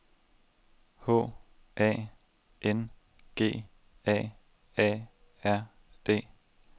H A N G A A R D